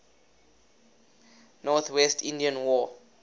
northwest indian war